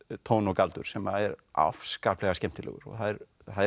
tón og galdur sem er afskaplega skemmtilegur það er